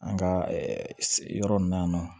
An ka yɔrɔ in na yan nɔ